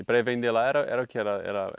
E para ir vender lá era era o que? Era era